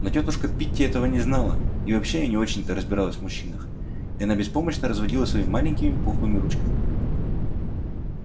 но тётушка питти этого не знала и вообще не очень-то разбиралась в мужчинах и она беспомощно разводила своими маленькими пухлыми ручками